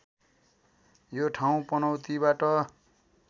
यो ठाउँ पनौतीबाट